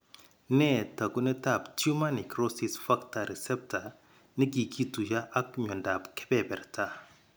Nee taakunetaab tumor necrosis factor receptor ne kikituiyo ak myondap keberberta?